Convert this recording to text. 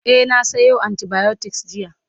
e na Sayo antibiotics jiya